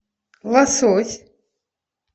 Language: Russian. лосось